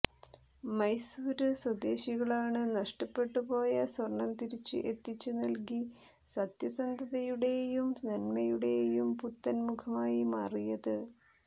മൈസുരു സ്്വദേശികളാണ് നഷ്ടപ്പെട്ടു പോയ സ്വർണം തിരിച്ച് എത്തിച്ച് നൽകി സത്യസന്ധതയുടെയും നന്മയുടെയും പുത്തൻ മുഖമായി മാറിയത്